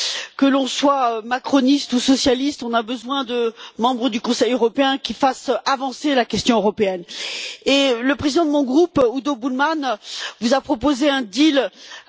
Que l'on soit macroniste ou socialiste, on a besoin de membres du Conseil européen qui fassent avancer la question européenne. Le président de mon groupe, Udo Bullmann, vous a proposé un marché.